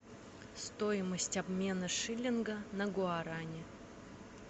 стоимость обмена шиллинга на гуарани